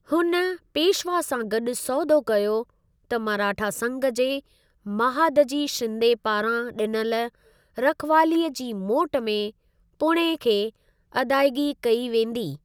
हुन पेशवा सां गॾु सौदो कयो त मराठा संघ जे महादजी शिंदे पारां ॾिनल रखिवालीअ जी मोट में पुणे खे अदाइगी कई वेंदी।